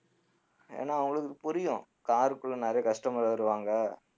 ஏன்னா அவங்களுக்கு புரியும் car க்குள்ள நிறைய customer வருவாங்க